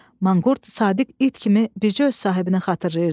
Manqurt sadiq it kimi bircə öz sahibini xatırlayırdı.